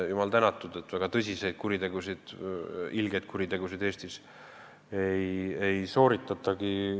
Jumal tänatud, et väga tõsiseid, ilgeid kuritegusid Eestis igal aastal ei sooritatagi.